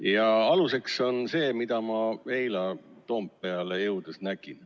Ja aluseks on see, mida ma eile Toompeale jõudes nägin.